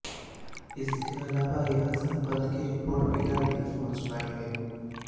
इसके अलावा छह सैंपल की रिपोर्ट फिलहाल नहीं पहुंच पाई है